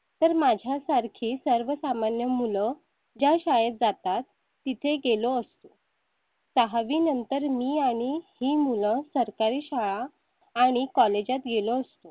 तर माझ्या सारखी सर्वसामान्य मुलं ज्या शाळेत जातात तिथे गेलो असतो दहा वी नंतर मी आणि ही मुलं सरकारी शाळा आणि college गेलो असतो.